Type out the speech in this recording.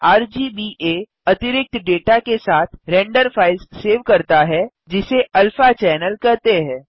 RGBA अतिरिक्त data के साथ रेंडर फ़ाइल्स सेव करता है जिसे अल्फा चैनल कहते हैं